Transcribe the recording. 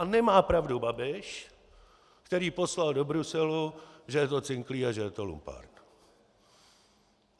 A nemá pravdu Babiš, který poslal do Bruselu, že je to cinklý a že je to lumpárna.